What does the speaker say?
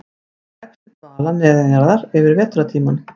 Hann leggst í dvala neðanjarðar yfir vetrartímann.